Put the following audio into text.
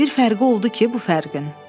Bir fərqi oldu ki, bu fərqin.